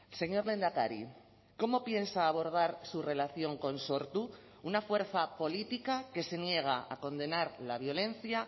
señor lehendakari cómo piensa abordar su relación con sortu una fuerza política que se niega a condenar la violencia